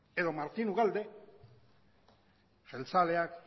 edo martín ugalde jeltzaleak